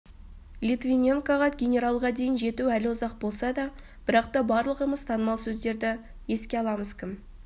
литвиненкоға генералға дейін жету әлі ұзақ болса да бірақта барлығымыз танымал сөздерді еске аламыз кім